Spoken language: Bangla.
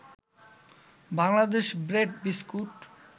Bangladesh bread biscuit